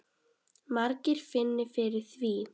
Margir finni fyrir því.